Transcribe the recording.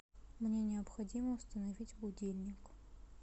мне необходимо установить будильник